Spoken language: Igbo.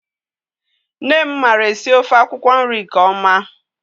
Nne m mara esi ofe akwụkwọ nri ne ọma.